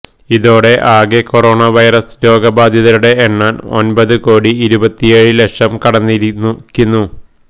ഇതോടെ ആകെ corona virus രോഗബാധിതരുടെ എണ്ണം ഒൻപത് കോടി ഇരുപത്തിയേഴ് ലക്ഷം കടന്നിരിക്കുന്നു